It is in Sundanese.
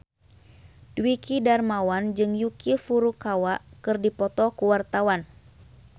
Dwiki Darmawan jeung Yuki Furukawa keur dipoto ku wartawan